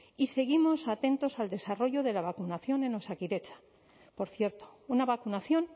y seguimos atentos al desarrollo de la vacunación en osakidetza por cierto una vacunación